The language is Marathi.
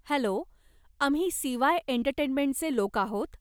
हॅलो, आम्ही सी.वाय एंटरटेंमेंटचे लोक आहोत.